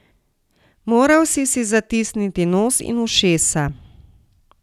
Moral si si zatisniti nos in ušesa.